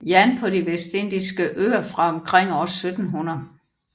Jan på de Dansk Vestindiske Øer fra omkring år 1700